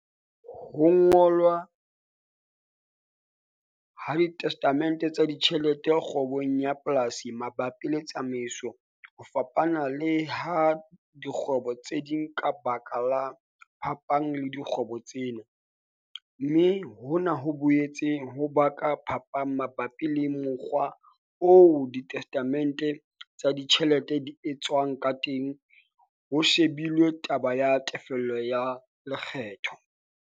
Ho ngolwa, alwa, ha disetatemente tsa ditjhelete kgwebong ya polasi mabapi le tsamaiso ho fapana le ha dikgwebo tse ding ka baka la phapang le dikgwebo tsena, mme hona ho boetse ho baka phapang mabapi le mokgwa oo disetatemente tsa ditjhelete di etswang ka teng ho shebilwe taba ya tefello ya lekgetho.